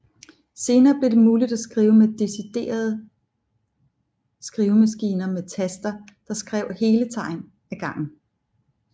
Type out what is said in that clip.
Senere blev det muligt at skrive med deciderede skrivemaskiner med taster der skrev hele tegn af gangen